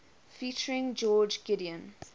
featuring george gideon